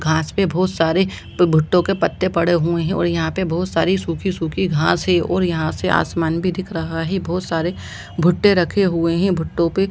घास पे बहुत सारे भुट्टे के पत्ते पड़े हुए है और यहाँ पे बहुत सारी सुखी-सुखी घास है और यहाँ से आसमान भी दिख रहा है बहुत सरे भुट्टे भी रखे हुए हैं भुट्टे पे --